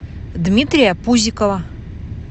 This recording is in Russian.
дмитрия пузикова